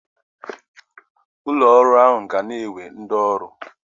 Ụlọ ọrụ ahụ ga na-ewe ndị ọrụ ọhụrụ